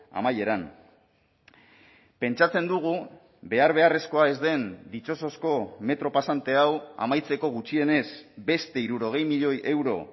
amaieran pentsatzen dugu behar beharrezkoa ez den ditxosozko metro pasante hau amaitzeko gutxienez beste hirurogei milioi euro